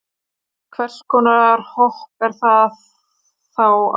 Við hvers konar hopp er þá átt?